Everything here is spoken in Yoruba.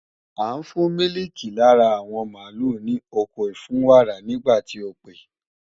À ń fún mílìkì lára àwọn mààlúù ní oko ìfúnwàrà nígbà tí o pè